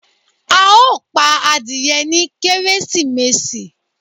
a o pa adìyé ni Kérésímèsí